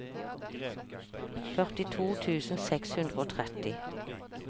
førtito tusen seks hundre og tretti